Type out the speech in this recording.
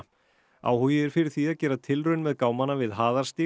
áhugi er fyrir því að gera tilraun með gámana við